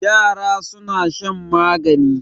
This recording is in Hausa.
Yara suna shan magani.